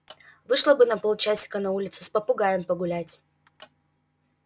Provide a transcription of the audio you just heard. вышла бы на полчасика на улицу с попугаем погулять